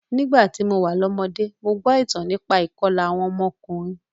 Nígbà tí mo wà lọ́mọdé, mo gbọ́ ìtàn nípa ìkọlà awon omo okurunin